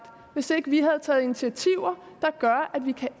hvis ikke vi havde taget initiativer der gør at vi kan